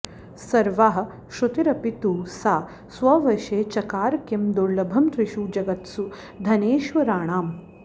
सर्वाः श्रुतीरपि तु सा स्ववशे चकार किं दुर्लभं त्रिषु जगत्सु धनेश्वराणाम्